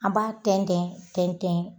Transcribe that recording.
An b'a tɛntɛn tɛntɛn .